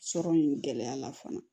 Sɔrɔ in gɛlɛya la fana